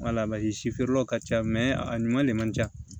si feerelaw ka ca a ɲuman de man ca